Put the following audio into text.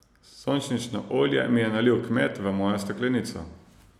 Sončnično olje mi je nalil kmet v mojo steklenico.